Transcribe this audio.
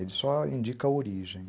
Ele só indica a origem.